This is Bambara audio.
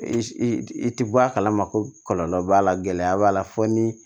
I i ti bɔ a kalama ko kɔlɔlɔ b'a la gɛlɛya b'a la fɔ ni